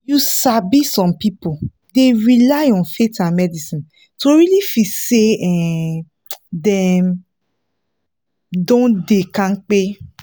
you sabi some people dey rely on faith and medicine to really feel say um dem don dey kampe.